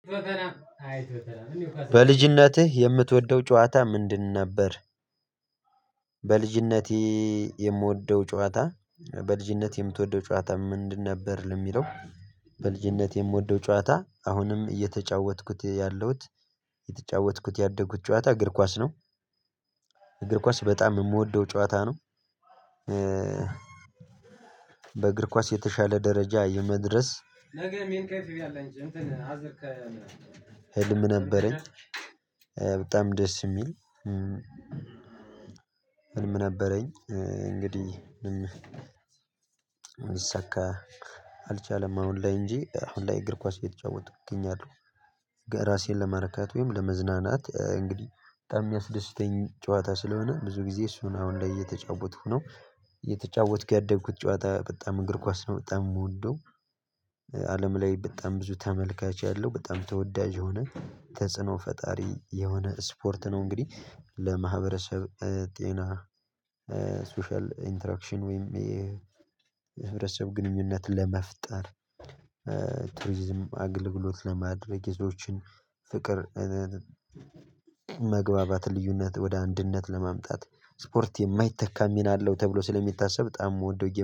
በልጅነትህ የምትወደው ጨዋታ ምንድን ነበር? በልጅነቴ የምወደው ጨዋታ በልጅነቴ የምትወደው ጨዋታ ምንድን ነበር የሚለው? በልጅነቴ የምወደው ጨዋታ አሁንም እየተጫወትኩት ያለሁት የተጫወትኩት ያደጉት ጨዋታ እግር ኳስ ነው። እግር ኳስ በጣም የምወደው ጫዋታ ነው። በእግር ኳስ የተሻለ ደረጃ የመድረስ ህልም ነበረኝ በጣም ደስ የሚል ህልም ነበረኝ እንግዲህ ምንም አልሳካ አልቻለም አሁን ላይ እንጂ አሁን ላይ እግር ኳስ እየተጫወተኩ እገኛለሁ ራሴን ለመረካት ወይም ለመዝናናት እንግዲህ በጣም የሚያስደስተኝ ጨዋታ ስለሆነ ብዙ ጊዜ እሱን አሁን ላይ እየተጫወትኩ ነው እየተጫወትኩ ያደግኩት ጨዋታ በጣም እንግር ኳስ ነው በጣም የምወደው አለም ላይ በጣም ብዙ ተመልካች ያለው በጣም ተወዳጅ የሆነ ተጽዕኖ ፈጣሪ የሆነ ስፖርት ነው እንግዲህ ለማህበረሰብ ጤና ሶሻል ኢንተራክሽን ወይም የህብረተሰብ ግንኙነት ለመፍጠር ቱሪዝም አግልግሎት ለማድረግ ይዞችን ፍቅር መግባባትን ልዩነት ወደ አንድነት ለማምጣት ስፖርት የማይተካ ሚና አለው ተብሎ ስለሚታሰብ በጣም የምወደው ጌም